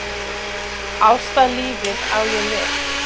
Ástalífið á ég við.